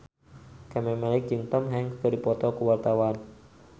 Camelia Malik jeung Tom Hanks keur dipoto ku wartawan